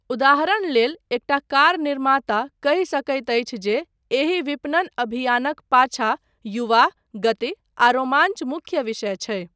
उदाहरण लेल, एकटा कार निर्माता कहि सकैत अछि जे एहि विपणन अभियानक पाछा युवा, गति आ रोमाञ्च मुख्य विषय छै।